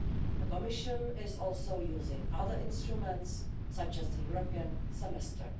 The Commission is also using other instruments such as the European Semester.